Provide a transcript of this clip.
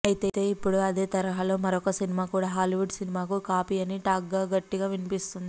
అయితే ఇప్పుడు అదే తరహాలో మరొక సినిమా కూడా హాలీవుడ్ సినిమాకు కాపీ అని టాక్ గట్టిగా వినిపిస్తోంది